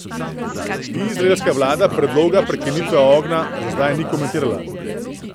Izraelska vlada predloga prekinitve ognja za zdaj ni komentirala.